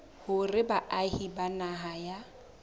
hore baahi ba naha ya